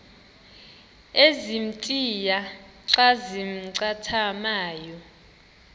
ezintia xa zincathamayo